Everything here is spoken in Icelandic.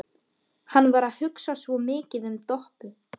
Hann var að hugsa svo mikið um Doppu.